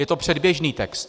Je to předběžný text.